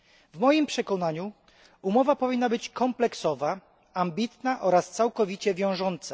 W moim przekonaniu umowa powinna być kompleksowa, ambitna oraz całkowicie wiążąca.